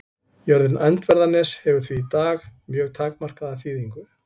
Jörðin Öndverðarnes hefur því í dag mjög takmarkaða þýðingu.